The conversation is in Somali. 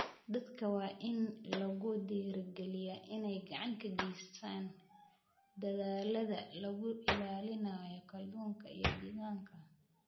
Dadka waa in lagu dhiirigeliyaa inay gacan ka geystaan ??dadaallada lagu ilaalinayo kalluunka iyo deegaanka.